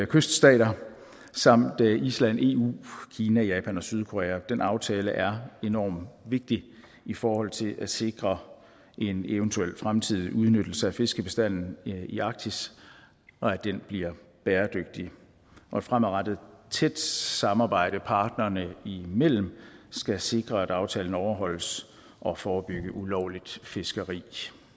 kyststater samt island eu kina japan og sydkorea den aftale er enormt vigtig i forhold til at sikre en eventuel fremtidig udnyttelse af fiskebestanden i arktis og at den bliver bæredygtig og et fremadrettet tæt samarbejde partnerne imellem skal sikre at aftalen overholdes og forebygge ulovligt fiskeri